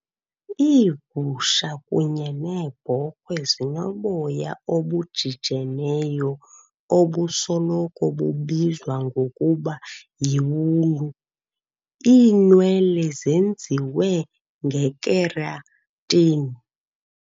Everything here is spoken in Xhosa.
Iigusha kunye neebhokhwe zinoboya obujijeneyo, obusoloko bubizwa ngokuba yiwulu. Iinwele zenziwe ngekeratin.